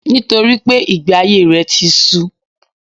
Nítorípé ìgbé ayé rè ti su